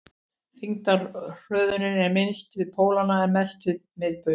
þyngdarhröðunin er minnst við pólana en mest við miðbaug